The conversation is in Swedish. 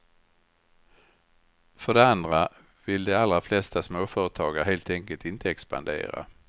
För det andra vill de allra flesta småföretagare helt enkelt inte expandera.